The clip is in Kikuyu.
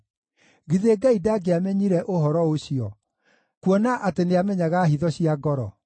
githĩ Ngai ndangĩamenyire ũhoro ũcio, kuona atĩ nĩamenyaga hitho cia ngoro?